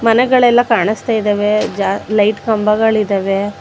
ಮನೆಗಳೆಲ್ಲ ಕಾಣುತ್ತಿದ್ದಾವೆ ಜ ಲೈಟ್ ಕಂಬಗಳಿದಾವೆ.